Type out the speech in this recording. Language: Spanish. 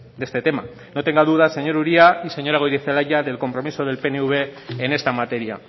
de este tema no tenga duda señor uria y señora goirizelaia del compromiso del pnv en esta materia